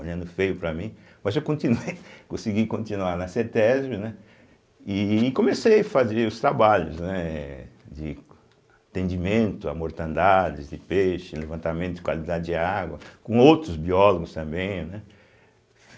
olhando feio para mim, mas eu continuei, consegui continuar na cêtésbe, né e comecei fazer os trabalhos né de atendimento a mortandades de peixes levantamento de qualidade de água, com outros biólogos também, né.